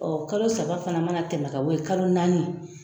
kalo saba fana ma na tɛmɛ ka bɔ yen kalo naani